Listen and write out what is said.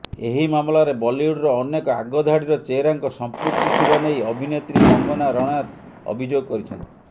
ଏହି ମାମଲାରେ ବଲିଉଡର ଅନେକ ଆଗଧାଡିର ଚେହେରାଙ୍କ ସଂପୃକ୍ତି ଥିବା ନେଇ ଅଭିନେତ୍ରୀ କଙ୍ଗନା ରଣାଓ୍ୱତ ଅଭିଯୋଗ କରିଛନ୍ତି